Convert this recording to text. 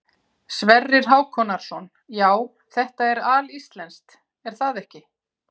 Sverrir Hákonarson: Já, þetta er alíslenskt er það ekki?